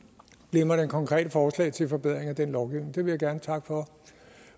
glimrende konkrete forslag til forbedringer af den lovgivning det vil jeg gerne takke for